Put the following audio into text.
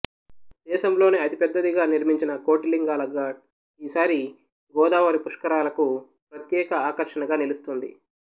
దేశంలోనే అతిపెద్దదిగా నిర్మించిన కోటిలింగాల ఘాట్ ఈసారి గోదావరి పుష్కరాలకు ప్రత్యేక ఆకర్షణగా నిలుస్తోంది